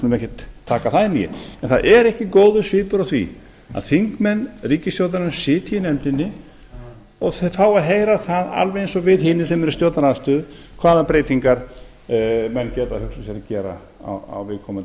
skulum ekkert taka það inn í en það er ekki góður svipur á því að þingmenn ríkisstjórnarinnar sitji í nefndinni og fái að heyra það alveg eins og við hinir sem erum í stjórnarandstöðu hvaða breytingar menn geti hugsað sér að gera